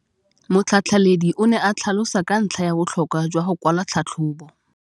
Motlhatlheledi o ne a tlhalosa ka ntlha ya botlhokwa jwa go kwala tlhatlhôbô.